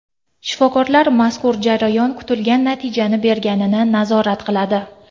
Shifokorlar mazkur jarayon kutilgan natijani berganini nazorat qiladi.